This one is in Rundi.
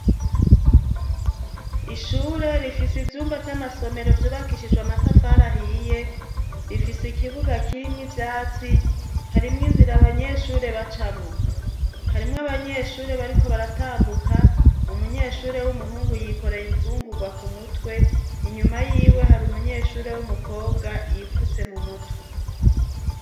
Ishure rifise ivyumba vy'amasomero vyubakishijwe amatafarahiye rifise ikibuga kirimwo ivyatsi harimwo inzira abanyeshure bacamwa harimwo abanyeshure bariko baratambuka umunyeshure w'umuhungu yikoray imfungurwa ku mutwe inyuma yiwe hari umunyehure re w'umukobwa yifutse mu mutwe.